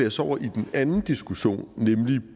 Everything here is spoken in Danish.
os over i den anden diskussion nemlig